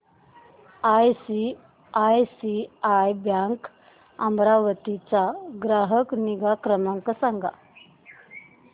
ICICI bank Amravati चा ग्राहक निगा क्रमांक सांगा